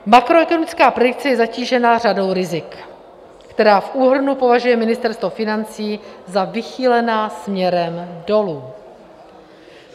Makroekonomická predikce je zatížena řadou rizik, která v úhrnu považuje Ministerstvo financí za vychýlená směrem dolů.